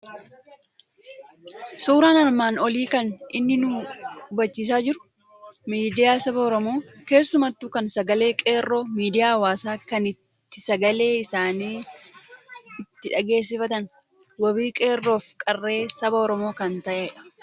Suuraan armaan olii kan inni nu hubachiisaa jiru, miidiyaa saba Oromoo, keessumattuu kan sagalee Qeerroo, miidiyaa hawaasaa kan itti sagalee isaanii itti dhangeessiffatan, wabii qeerroo fi qarree saba Oromoo kan ta'edha.